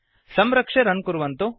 संरक्ष्य रन् कुर्वन्तु